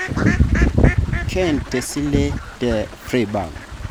Kent tesile te Freiburg